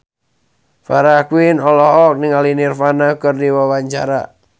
Farah Quinn olohok ningali Nirvana keur diwawancara